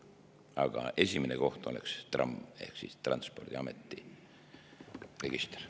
Aga esimene koht oleks TRAM ehk Transpordiameti register.